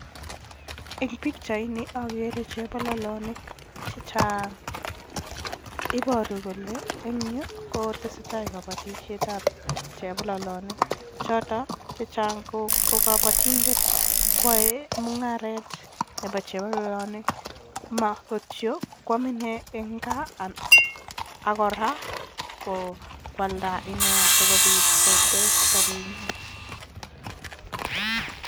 Eng pichaini ageere chepololonik chechang, ipooru kole eng yu kotesetai kabatishetab chepololonik, choto chechang ko kabatindet kwae mungaret nebo chepololonik, makityo kwaam inee eng gaa ak kora kwalda inee sikopit kotes sobenyin.